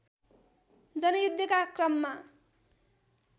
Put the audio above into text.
जनयुद्धका क्रममा